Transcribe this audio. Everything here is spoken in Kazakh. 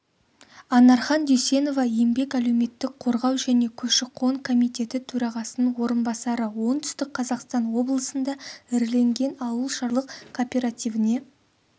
анархан дүйсенова еңбек әлеуметтік қорғау және көші-қон комитеті төрағасының орынбасары оңтүстік қазақстан облысында іріленген ауылшаруашылық кооперативіне